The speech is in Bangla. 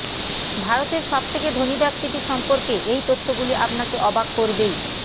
ভারতের সবথেকে ধনী ব্যক্তিটি সম্পর্কে এই তথ্যগুলি আপনাকে অবাক করবেই